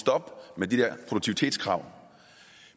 stoppe med de der produktivitetskrav